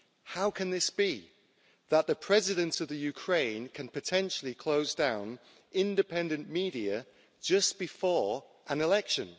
How can this be that the President of Ukraine can potentially closed down independent media just before an election?